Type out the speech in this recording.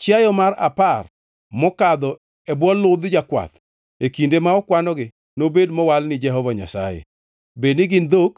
Chiayo mar apar mokadho e bwo ludh jakwath e kinde ma okwanogi, nobed mowal ni Jehova Nyasaye, bedni gin dhok